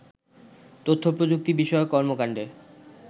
তথ্য প্রযুক্তি বিষয়ক কর্মকান্ডে